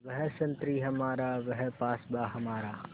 वह संतरी हमारा वह पासबाँ हमारा